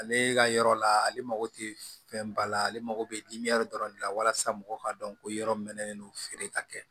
Ale ka yɔrɔ la ale mako tɛ fɛn ba la ale mago bɛ dɔrɔn de la walasa mɔgɔw ka dɔn ko yɔrɔ min mɛnnen don feere ka kɛ